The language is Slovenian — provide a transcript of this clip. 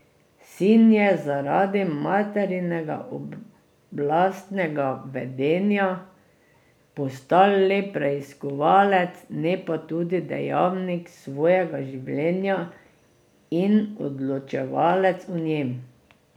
Sin je zaradi materinega oblastnega vedenja postal le preiskovalec, ne pa tudi dejavnik svojega življenja in odločevalec o njem.